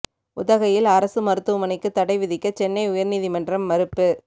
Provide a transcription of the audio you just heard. உதகையில் அரசு மருத்துவமனைக்கு தடை விதிக்க சென்னை உயர் நீதிமன்றம் மறுப்பு